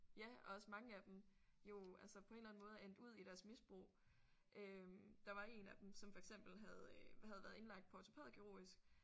Ja og også mange af dem jo altså på en eller anden måde er endt ud i deres misbrug øh. Der var en af dem som for eksempel havde havde været indlagt på ortopædkirurgisk